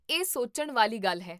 ਇਹ ਸੋਚਣ ਵਾਲੀ ਗੱਲ ਹੈ